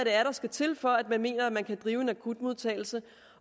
er der skal til for at man mener at man kan drive en akutmodtagelse